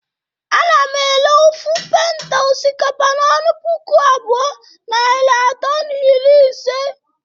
Ana m ere ofu penta osikapa n'ọnụ puku abụọ, narị atọ na iri ise